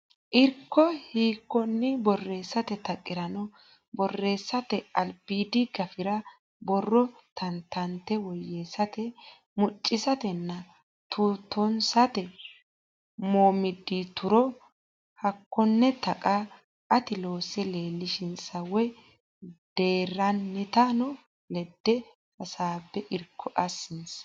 Irko hiikkonni borreessate taqirano borreessate albiidi gafira borro tantanate woyyeessate muccisatenna tuutoonsate mommoddituro Hakkonne taqa ati loose leellishinsa woy deerrantino ledo hasaabbe irko assinsa.